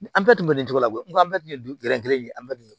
Ni bɛɛ tun bɛ nin cogo la dɛ n ko an bɛɛ tun ye gɛrɛnkelen ye an bɛɛ tun ye